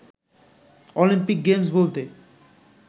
Olympic Games বলতে